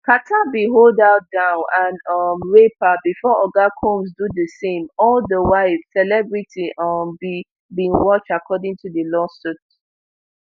carter bin hold her down and um rape her bifor oga combs do di same all di while celebrity um b bin watch according to di lawsuit